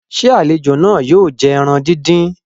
ṣe àlejò náà yóò jẹ ẹran dín dín?